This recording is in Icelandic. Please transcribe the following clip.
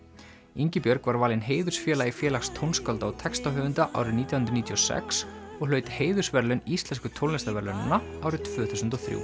Ingibjörg var valin heiðursfélagi Félags tónskálda og textahöfunda árið nítján hundruð níutíu og sex og hlaut heiðursverðlaun Íslensku tónlistarverðlaunanna árið tvö þúsund og þrjú